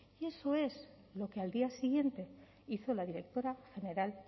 y eso es lo que al día siguiente hizo la directora general